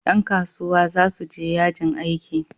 Dan kasuwa za su je yajin aiki